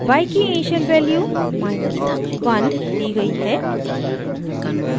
y की initial value minus 1 1 दी गयी है